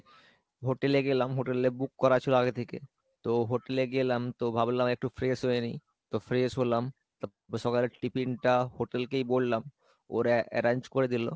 hotel এ গেলাম hotel এ book করেছিল আগে থেকে, তো hotel এ গেলাম তো ভাবলাম একটু fresh হয়ে নিয়, তো fresh হলাম, তা সকালে tiffin টা hotel কেই বলাম ওরা arrange করে দিলো।